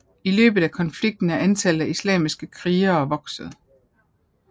I løbet af konflikten er antallet af islamistiske krigere vokset